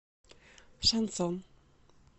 шансон